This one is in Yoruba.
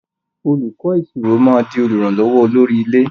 Olùkó ìṣirò má dì olùrànlówó olórí ilé.